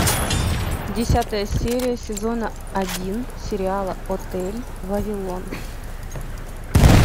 десятая серия сезона один сериала отель вавилон